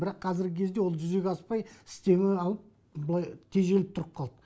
бірақ қазіргі кезде ол жүзеге аспай істеуі былай тежеліп тұрып қалды